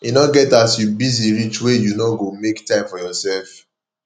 e no get as you busy reach wey you no go make time for yoursef